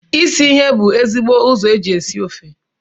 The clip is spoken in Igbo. Isi ihe bu ezigbo ụzọ eji esi ofe